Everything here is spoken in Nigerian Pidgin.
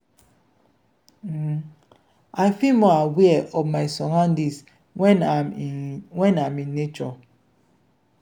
i feel more aware of my surroundings when i’m in when i’m in nature.